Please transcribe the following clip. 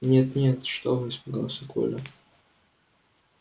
нет нет что вы испугался коля